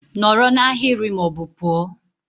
Nọrọ na ahịrị ma ọ bụ pụọ!